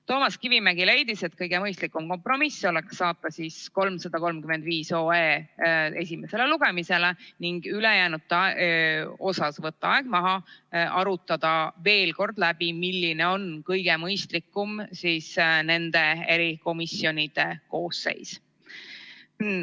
Toomas Kivimägi leidis, et kõige mõistlikum kompromiss oleks saata 335 OE esimesele lugemisele ning ülejäänud eelnõude puhul võtta aeg maha ja arutada veel kord läbi, milline on kõige mõistlikum erikomisjonide koosseis.